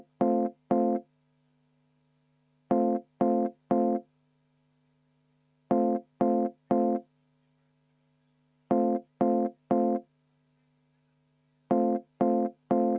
Aitäh, lugupeetud juhataja!